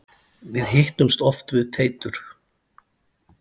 Við hittumst oft við Teitur.